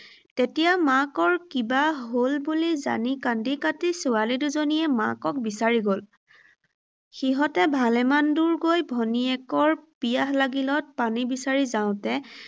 তেতিয়া মাকৰ কিবা হ’ল বুলি জানি কান্দি কাটি ছোৱালী দুজনীয়ে মাকক বিচাৰি গ’ল। সিহঁতে ভালেমান দূৰ গৈ ভনীয়েকৰ পিয়াহ লাগিলত পানী বিচাৰি যাওঁতে